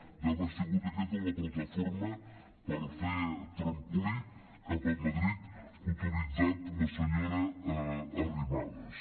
deu haver sigut aquesta la plataforma per fer trampolí cap a madrid que ha utilitzat la senyora arrimadas